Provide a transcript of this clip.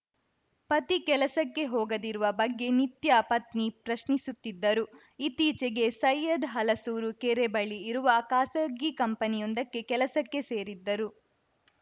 ಪತಿ ಕೆಲಸಕ್ಕೆ ಹೋಗದಿರುವ ಬಗ್ಗೆ ನಿತ್ಯ ಪತ್ನಿ ಪ್ರಶ್ನಿಸುತ್ತಿದ್ದರು ಇತ್ತೀಚೆಗೆ ಸೈಯದ್‌ ಹಲಸೂರು ಕೆರೆ ಬಳಿ ಇರುವ ಖಾಸಗಿ ಕಂಪನಿಯೊಂದಕ್ಕೆ ಕೆಲಸಕ್ಕೆ ಸೇರಿದ್ದರು